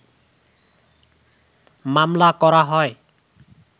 মামলা করা হয়